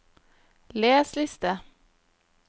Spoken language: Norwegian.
les liste